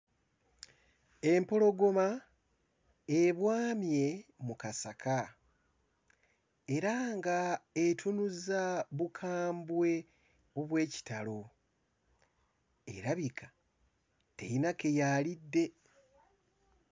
Empologoma ebwamye mu kasaka era ng'etunuza bukambwe obw'ekitalo; erabika terina ke yaalidde.